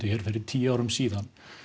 fyrir tíu árum síðan